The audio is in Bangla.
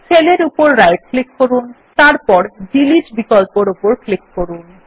সেল এর উপর রাইট ক্লিক করুন এবং তারপর ডিলিট বিকল্পর উপর ক্লিক করুন